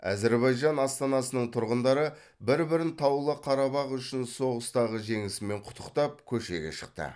әзербайжан астанасының тұрғындары бір бірін таулы қарабақ үшін соғыстағы жеңісімен құттықтап көшеге шықты